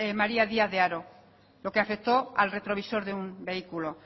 maría díaz de haro lo que afectó al retrovisor de un vehículo